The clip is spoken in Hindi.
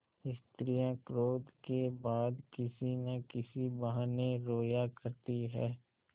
स्त्रियॉँ क्रोध के बाद किसी न किसी बहाने रोया करती हैं